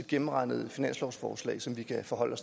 gennemregnede finanslovsforslag som vi kan forholde